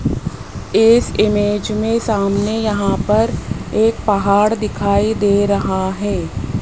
इस इमेज में सामने यहां पर एक पहाड़ दिखाई दे रहा है।